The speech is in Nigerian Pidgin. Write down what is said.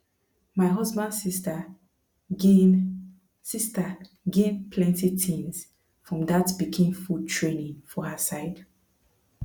my husband sister gain sister gain plenty things from that pikin food training for her side